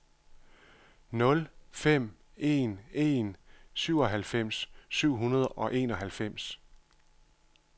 nul fem en en syvoghalvfems syv hundrede og enoghalvfems